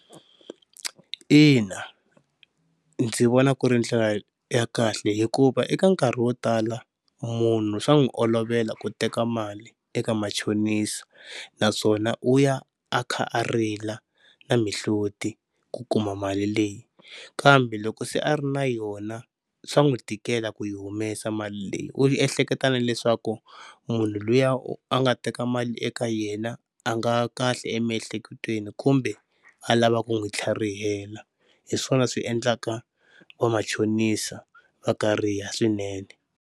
Ina ndzi vona ku ri ndlela ya kahle hikuva eka nkarhi wo tala munhu swa n'wi olovela ku teka mali eka machonisa, naswona u ya a kha a rila na mihloti ku kuma mali leyi, kambe loko se a ri na yona swa n'wi tikela ku yi humesa mali leyi u yi ehleketaka leswaku munhu luya a nga teka mali eka yena a nga kahle emiehleketweni kumbe a lava ku n'wi tlharihela hi swona swi endlaka va machonisa va kariha swinene.